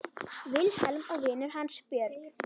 Vilhelm og vinur hans Björn.